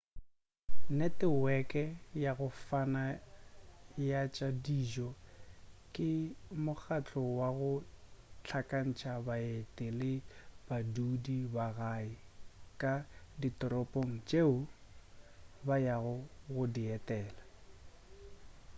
neteweke ya go fana ya tša dijo ke mokgahlo wa go hlakantša baeti le badudi ba gae ka ditoropong tšeo ba yago go di etela